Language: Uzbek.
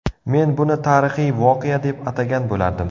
Men buni tarixiy voqea deb atagan bo‘lardim.